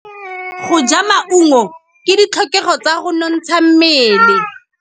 Go ja maungo ke ditlhokegô tsa go nontsha mmele.